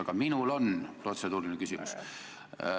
Aga minul on protseduuriline küsimus.